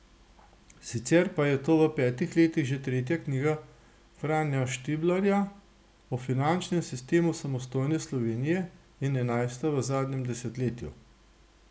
Sicer pa je to v petih letih že tretja knjiga Franja Štiblarja o finančnem sistemu samostojne Slovenije in enajsta v zadnjem desetletju.